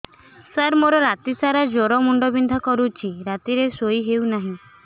ସାର ମୋର ରାତି ସାରା ଜ୍ଵର ମୁଣ୍ଡ ବିନ୍ଧା କରୁଛି ରାତିରେ ଶୋଇ ହେଉ ନାହିଁ